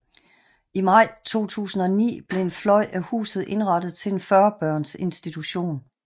I maj 2009 blev en fløj af huset indrettet til en 40 børns institution